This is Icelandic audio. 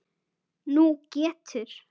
Nú getur